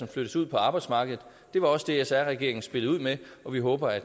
flyttes ud på arbejdsmarkedet det var også det sr regeringen spillede ud med og vi håber at